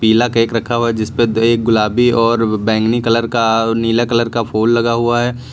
पीला केक रखा हुआ है जिस पे एक गुलाबी और बैंगनी कलर का नीला कलर का फूल लगा हुआ है।